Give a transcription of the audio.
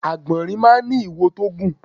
Àgbọ̀nrín máá ń ní iwo tó gùn